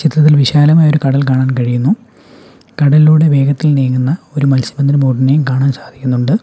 ചിത്രത്തിൽ വിശാലമായ ഒരു കടൽ കാണാൻ കഴിയുന്നു കടലിലൂടെ വേഗത്തിൽ നീങ്ങുന്ന ഒരു മത്സ്യബന്ധന ബോട്ടിനെയും കാണാൻ സാധിക്കുന്നുണ്ട്.